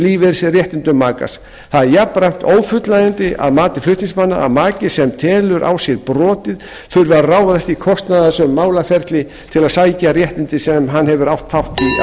lífeyrisréttindum makans það er jafnframt ófullnægjandi að mati flutningsmanna að maki sem telur á sér brotið þurfi að ráðast í kostnaðarsöm málaferli til að sækja réttindi sem hann hefur átt þátt